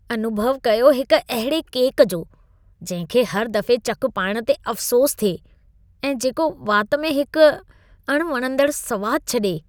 अनुभउ कयो हिकु अहिड़े केक जो, जंहिं खे हर दफ़े चकु पाइण ते अफ़सोस थिए, ऐं जेको वात में हिक अणवणंदड़ सवाद छॾे।